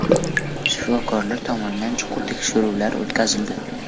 Shifokorlar tomonidan chuqur tekshiruvlar o‘tkazildi.